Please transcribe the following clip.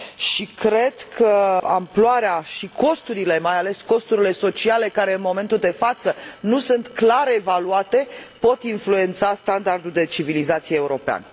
și cred că amploarea și costurile, mai ales costurile sociale, care în momentul de față nu sunt clar evaluate, pot influența standardul de civilizație european.